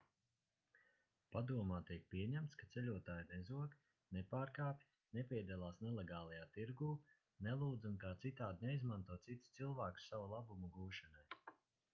padomā tiek pieņemts ka ceļotāji nezog nepārkāpj nepiedalās nelegālajā tirgū nelūdz un kā citādi neizmanto citus cilvēkus sava labuma gūšanai